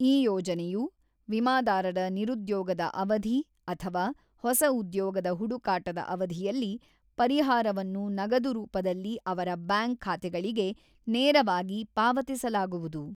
ಈ ಯೋಜನೆಯು ವಿಮಾದಾರರ ನಿರುದ್ಯೋಗದ ಅವಧಿ ಅಥವಾ ಹೊಸ ಉದ್ಯೋಗದ ಹುಡುಕಾಟದ ಅವಧಿಯಲ್ಲಿ ಪರಿಹಾರವನ್ನು ನಗದು ರೂಪದಲ್ಲಿ ಅವರ ಬ್ಯಾಂಕ್ ಖಾತೆಗಳಿಗೆ ನೇರವಾಗಿ ಪಾವತಿಸಲಾಗುವುದು.